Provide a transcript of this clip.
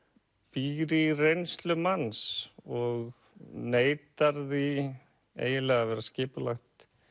býr í reynslu manns og neitar því eiginlega að vera skipulagt